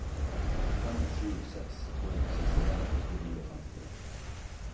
fem sju seks to sekstien åtte hundre og femtitre